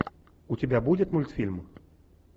у тебя будет мультфильм